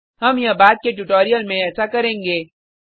हम यह बाद के ट्यूटोरियल में ऐसा करेंगे